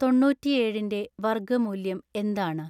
തൊണ്ണൂറ്റി ഏഴിന്റെ വർഗ്ഗമൂല്യം എന്താണ്